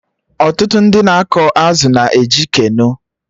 Ọtụtụ ndị na-akọ azụ na eji Keno